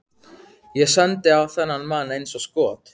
Ég sendi á þennan mann eins og skot.